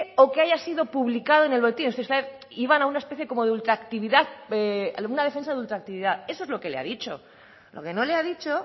o que haya sido publicado en el boletín o sea iban a unas especie como de ultraactividad a una defensa de ultraactividad eso es lo que le ha dicho lo que no le ha dicho